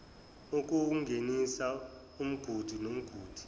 ukuwungenisa umgudu nomgudu